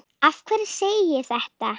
Af hverju segi ég þetta?